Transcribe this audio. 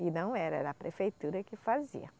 E não era, era a prefeitura que fazia.